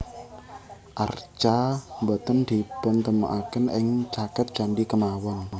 Arca boten dipuntemokaken ing caket candhi kemawon